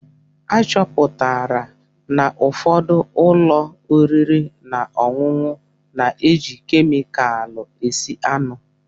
Achọpụtara n'ụfọdụ ụlọ oriri na ọṅụṅụ na-eji kemịkalụ esi anụ.